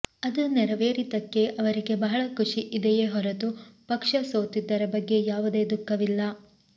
ಅದು ನೆರವೇರಿದ್ದಕ್ಕೆ ಅವರಿಗೆ ಬಹಳ ಖುಷಿ ಇದೆಯೇ ಹೊರತು ಪಕ್ಷ ಸೋತಿದ್ದರ ಬಗ್ಗೆ ಯಾವುದೇ ದುಃಖವಿಲ್ಲ